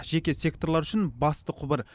жеке секторлар үшін басты құбыр